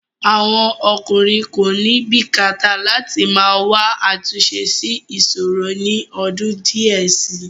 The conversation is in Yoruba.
Àwọn ọkùnrin kò ní bìkíta láti máa wá àtúnṣe sí ìṣòro ni ọdún díẹ̀ síi.